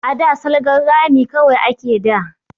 A da salgan rami kawai ake da